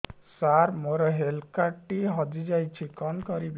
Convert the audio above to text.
ସାର ମୋର health card ଟି ହଜି ଯାଇଛି କଣ କରିବି